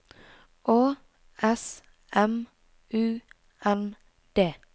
Å S M U N D